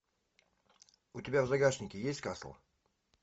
у тебя в загашнике есть касл